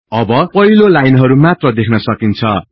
अब पहिलो लाइनहरु मात्र देख्न सकिन्छ